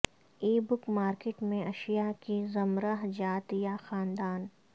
ای book market میں اشیاء کی زمرہ جات یا خاندان